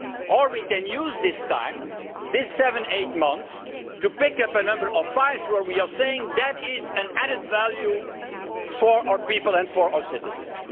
Or we can use this time, these seven or eight months, to pick up a number of files where we are saying that they represent an added value for our people and for our citizens.